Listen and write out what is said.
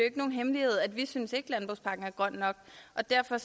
ikke nogen hemmelighed at vi ikke synes at landbrugspakken er grøn nok og derfor